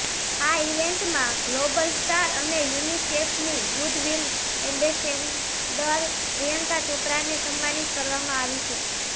આ ઇવેન્ટમાં global star અને યુનિસેફની ગુડવિલ એમ્બેસેડર પ્રિયંકા ચોપરાને સન્માનિત કરવામાં આવી છે